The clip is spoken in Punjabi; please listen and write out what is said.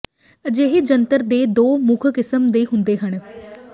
ਅਜਿਹੇ ਜੰਤਰ ਦੇ ਦੋ ਮੁੱਖ ਕਿਸਮ ਦੇ ਹੁੰਦੇ ਹਨ